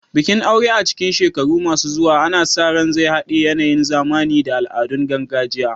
Bikin aure a cikin shekaru masu zuwa ana sa ran zai haɗe yanayin zamani da al'adun gargajiya.